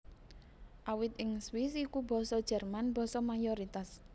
Awit ing Swiss iku Basa Jerman basa mayoritas